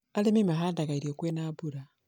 arĩmi mahandaga irio kwĩ na mbura.